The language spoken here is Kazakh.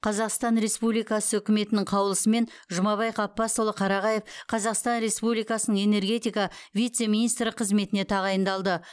қазақстан республикасы үкіметінің қаулысымен жұмабай ғаббасұлы қарағаев қазақстан республикасының энергетика вице министрі қызметіне тағайындалды